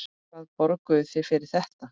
Hvað borguðuð þið fyrir þetta?